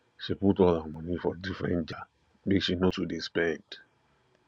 she put all her moni for different jar make she no too dey spend